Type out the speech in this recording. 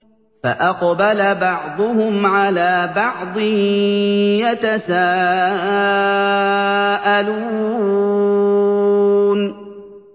فَأَقْبَلَ بَعْضُهُمْ عَلَىٰ بَعْضٍ يَتَسَاءَلُونَ